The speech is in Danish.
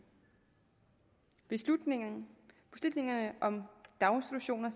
beslutningerne om daginstitutioner